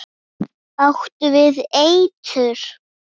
Áttu við eitur.